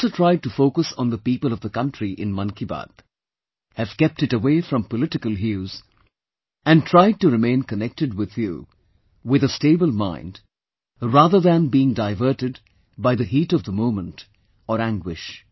I have also tried to focus on the people of the country in Mann Ki Baat, have kept it away from political hues & tried to remain connected with you with a stable mind rather than being diverted by the heat of the moment or anguish